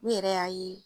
U yɛrɛ y'a ye